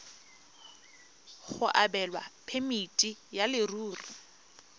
go abelwa phemiti ya leruri